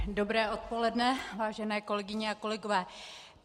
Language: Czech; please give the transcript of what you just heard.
Dobré odpoledne, vážené kolegyně a kolegové.